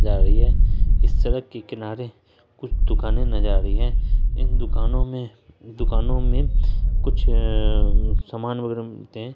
जा रही हैं इस सड़क के किनारे कुछ दुकानें नजर आ रही हैं इन दुकानों में दुकानों मे कुछ अअ सामान वगैरा मिलते हैं।